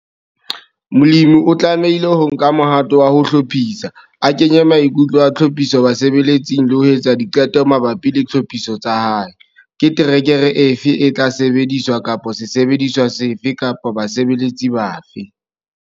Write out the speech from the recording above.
Molemi o tlamehile ho nka mohato wa ho hlophisa, a kenye maikutlo a tlhophiso basebeletsing le ho etsa diqeto mabapi le tlhophiso tsa hae, ke terekere efe e tla sebediswa kapa sesebediswa sefe kapa basebeletsi bafe.